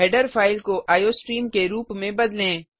header file को iostream के रूप में बदलें